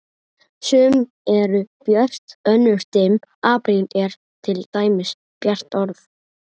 Sum eru björt, önnur dimm, apríl er til dæmis bjart orð.